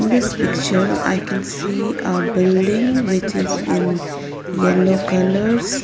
In this picture I can see a building which is in yellow colours.